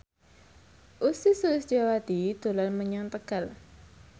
Ussy Sulistyawati dolan menyang Tegal